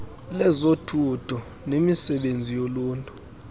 lezothutho nemisebenzi yoluntu